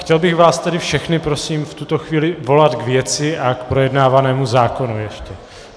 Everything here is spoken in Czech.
Chtěl bych vás tedy všechny prosím v tuto chvíli volat k věci a k projednávanému zákonu ještě.